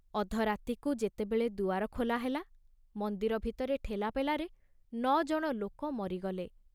ଅଧରାତିକୁ ଯେତେବେଳେ ଦୁଆର ଖୋଲାହେଲା, ମନ୍ଦିର ଭିତରେ ଠେଲାପେଲାରେ ନ ଜଣ ଲୋକ ମରିଗଲେ।